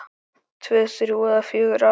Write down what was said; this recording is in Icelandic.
Tvö, þrjú eða fjögur ár?